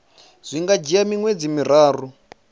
zwi nga dzhia miṅwedzi miraru